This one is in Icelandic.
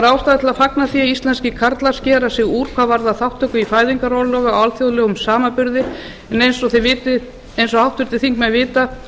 ástæða til að fagna því að íslenskir karlar skera sig úr hvað varðar þátttöku í fæðingarorlofi á alþjóðlegum samanburði en eins og háttvirtir þingmenn vita